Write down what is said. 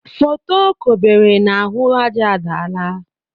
Foto o kobere n' ahụ aja adaala.